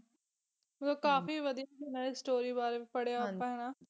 ਮਤਲਬ ਕਾਫੀ ਵਧੀਆ ਸੁਣਾਯਾ story ਬਾਰੇ ਪੜ੍ਹਿਆ ਆਪਾਂ ਹੈਨਾ